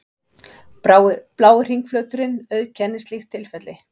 Blái hringflöturinn auðkennir slíkt tilfelli.